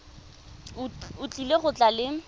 o tlile go tla le